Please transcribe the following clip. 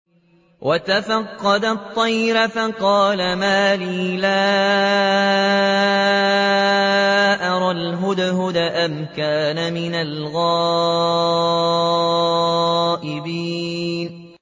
وَتَفَقَّدَ الطَّيْرَ فَقَالَ مَا لِيَ لَا أَرَى الْهُدْهُدَ أَمْ كَانَ مِنَ الْغَائِبِينَ